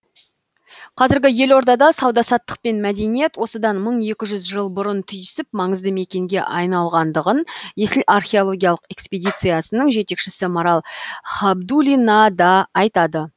қазіргі елордада сауда саттық пен мәдениет осыдан мың екі жүз жыл бұрын түйісіп маңызды мекенге айналғандығын есіл археологиялық эскпедициясының жетекшісі марал хабдулина да айтады